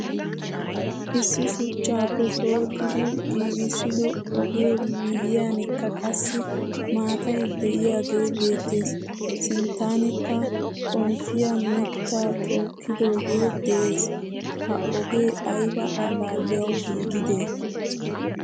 Issi shuchchappe pooxxidi giigisido ogee miyiyankka qassi maataay deiyage beettees. Sinttanikka xomppiyaa mitta tokkidoge de'ees. Ha oge ayba allaliyawu giigide?